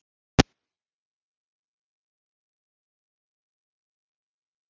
Magnús Hlynur Hreiðarsson: Af hverju eruð þið að stækka við hótelið?